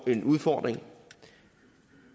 en udfordring